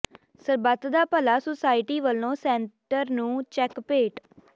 ਸਰਬੱਤ Da Bhala society ਵੱਲੋਂ centre ਨੂੰ cheque ਭੇਟ